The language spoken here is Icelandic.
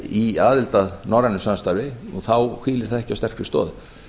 í aðild að norrænu samstarfi þá hvíli það ekki á sterkri stoð